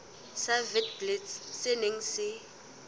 sa witblits se neng se